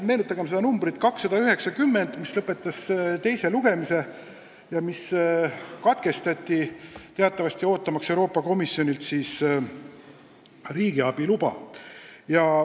Meenutagem eelnõu numbriga 290, mille teine lugemine lõpetati, aga siis jäi see teatavasti ootama Euroopa Komisjoni antavat riigiabi luba.